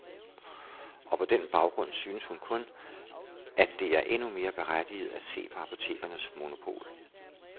Og på den baggrund synes hun kun, at det er endnu mere berettiget at se på apotekernes monopol.